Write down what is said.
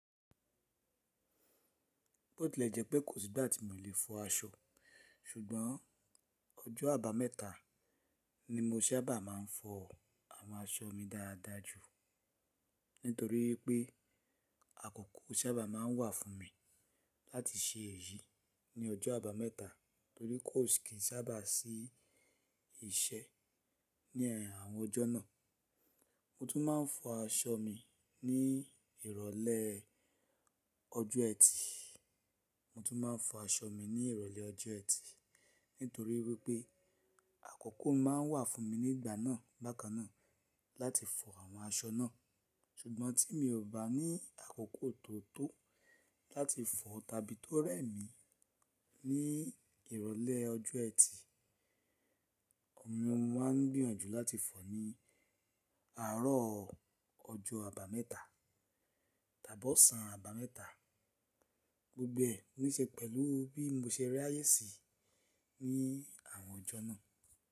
Bó tì lè jẹ́ pé kòsí ìgbà tí mo lè fọ aṣọ, ṣùgbọ́n ọjọ́ àbámẹ́ta ni mo sábà má a ń fọ àwọn aṣọ mi dáadáa jù nítorí pé, àkókò sábà má a ń wà fún mi, láti ṣe èyí ní ọjọ́ àbámẹ́ta nítorí kò sì sábà sí iṣẹ́ ní àwọn ọjọ́ náà. Mo tún má a ń fọ aṣọ mi, ní ìrólé ọjọ́ ẹtì. Mo tún má a ń fọ aṣọ mi ní ìrólé ọjọ́ ẹtì, nítorí wípé àkókò má a ń wà fún mi ní ìgbà náà bákannáà láti fọ àwọn aṣọ náà. Ṣùgbọ́n tí mi ò bá ní àkókò tó tó láti fọ, tàbí tó rẹ̀ mí ní ìrólé ọjọ́ ẹtì, òun mo maa n gbìyànjú láti fọ ní àárọ̀ ọjọ́ àbámẹ́ta tàbí ọ̀sán àbámẹ́ta. Gbogbo ẹ, ní ṣe pẹ̀lú bí mo ṣe rayé sí ní àwọn ọjọ́ náà.